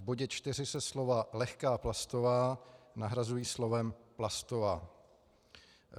V bodě 4 se slova "lehká plastová" nahrazují slovem "plastová".